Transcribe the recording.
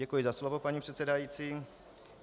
Děkuji za slovo, paní předsedající.